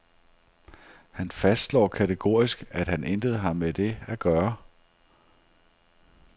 Han fastslår kategorisk, at han intet har med det at gøre.